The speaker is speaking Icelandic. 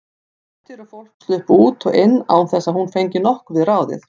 Hlutir og fólk sluppu út og inn án þess að hún fengi nokkuð við ráðið.